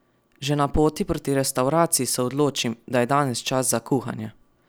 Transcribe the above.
Že na poti proti restavraciji se odločim, da je danes čas za kuhanje!